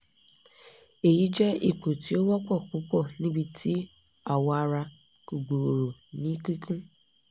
eyi jẹ ipo ti o wọpọ pupọ nibiti awọ ara ko gbooro ni kikun